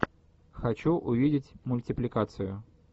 хочу увидеть мультипликацию